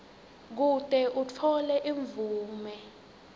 kute utfole imvume